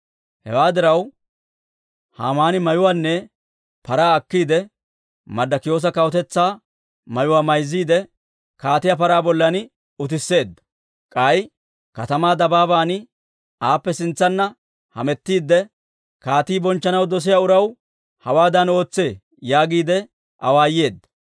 Hewaa diraw, Haamaani mayuwaanne paraa akiide Marddikiyoosa kawutetsaa mayuwaa mayzziide, kaatiyaa paraa bollan utisseedda. K'ay katamaa dabaaban aappe sintsanna hamettiidde, «Kaatii bonchchanaw dosiyaa uraw hawaadan ootsee» yaagiide awaayeedda.